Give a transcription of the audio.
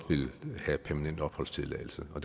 vil have permanent opholdstilladelse og